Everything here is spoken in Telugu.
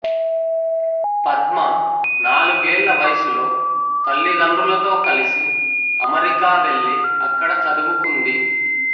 పద్మ నాలుగేళ్ల వయసులో తల్లిదండ్రులతో కలిసి అమెరికా వెళ్లి అక్కడ చదువుకుంది